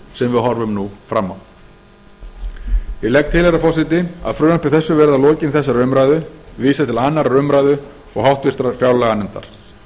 sem við horfum nú fram á ég legg til herra forseti að frumvarpi þessu verði að lokinni þessari umræðu vísað til annarrar umræðu og háttvirtrar fjárlaganefndar